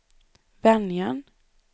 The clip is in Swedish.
Venjan